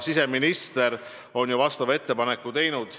Siseminister on ju vastava ettepaneku esitanud.